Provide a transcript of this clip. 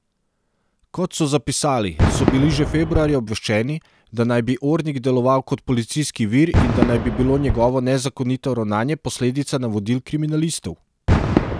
Kot so zapisali, so bili že februarja obveščeni, da naj bi Ornig deloval kot policijski vir in da naj bi bilo njegovo nezakonito ravnanje posledica navodil kriminalistov.